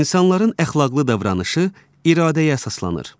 İnsanların əxlaqlı davranışı iradəyə əsaslanır.